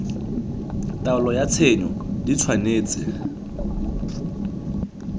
taelo ya tshenyo di tshwanetse